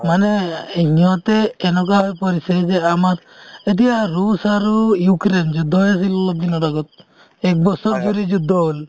মানে সিহঁতে কেনেকুৱা হৈ পৰিছে যে আমাক এতিয়া ৰুচ আৰু ইউক্ৰিয়ন যুদ্ধ হৈ আছিল অলপ দিনৰ আগত একবছৰ যদি যুদ্ধ হ'ল